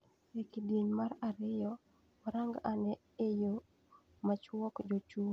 Ekidieny mar ariyo warang ane eyo machuok jochung angwen mar kom mar ker.